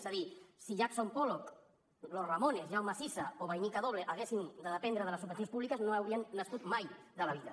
és a dir si jackson pollock los ramones jaume sisa o vainica doble haguessin de dependre de les subvencions públiques no haurien nascut mai de la vida